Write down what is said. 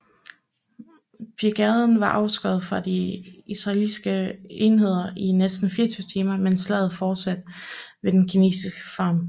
Brigaden var afskåret fra de israelske enheder i næsten 24 timer mens slaget fortsatte ved Den Kinesiske Farm